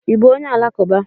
I bú onye alakuba?